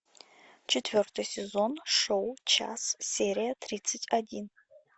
четвертый сезон шоу час серия тридцать один